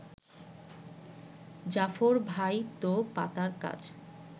জাফর ভাই তো পাতার কাজ